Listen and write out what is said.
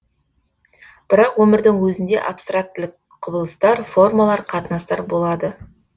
бірақ өмірдің өзінде абстрактілік құбылыстар формалар қатынастар болады